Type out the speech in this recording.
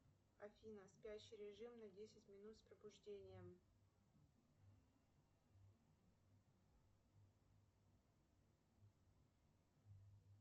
афина спящий режим на десять минут с пробуждением